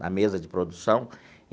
Na mesa de produção.